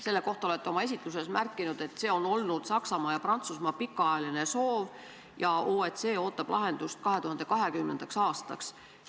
Selle kohta te märkisite oma esitluses, et see on olnud Saksamaa ja Prantsusmaa pikaajaline soov ja et OECD ootab lahendust 2020. aastaks.